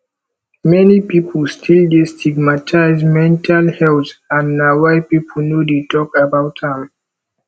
many people still dey stigmatize mental health and na why people no dey talk about am